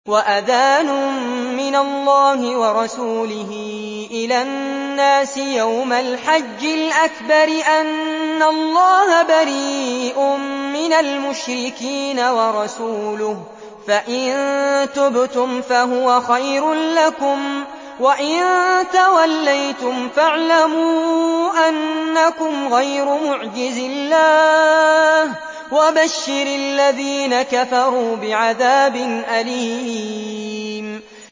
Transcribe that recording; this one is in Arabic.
وَأَذَانٌ مِّنَ اللَّهِ وَرَسُولِهِ إِلَى النَّاسِ يَوْمَ الْحَجِّ الْأَكْبَرِ أَنَّ اللَّهَ بَرِيءٌ مِّنَ الْمُشْرِكِينَ ۙ وَرَسُولُهُ ۚ فَإِن تُبْتُمْ فَهُوَ خَيْرٌ لَّكُمْ ۖ وَإِن تَوَلَّيْتُمْ فَاعْلَمُوا أَنَّكُمْ غَيْرُ مُعْجِزِي اللَّهِ ۗ وَبَشِّرِ الَّذِينَ كَفَرُوا بِعَذَابٍ أَلِيمٍ